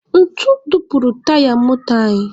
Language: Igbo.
Ntu dupuru taya moto anyị.